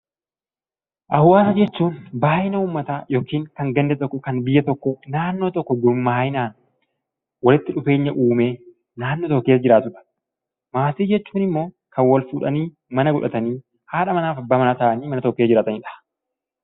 Hawaasa jechuun baayyina uummataa yookiin kan ganda tokko kan biyya tokkoo naannoo tokko gurmaa'inaan walitti dhufeenya uumee naannoo tokko keessaa jiraatudha. Maatii jechuunimmoo kan wal fuudhanii mana godhatanii haadha manaaf abbaa manaa ta'anii mana tokko keessajiraatanidha.